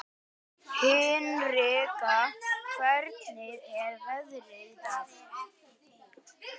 Hinrika, hvernig er veðrið í dag?